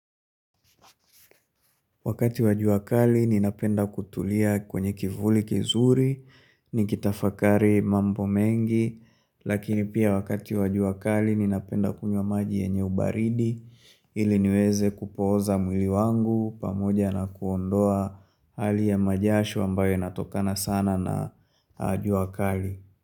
Wakati wa jua kali, ninapenda kutulia kwenye kivuli kizuri, nikitafakari mambo mengi, lakini pia wakati wa jua kali, ninapenda kunywa maji yenye ubaridi, ili niweze kupoza mwili wangu, pamoja na kuondoa hali ya majasho ambayo yanatokana sana na jua kali.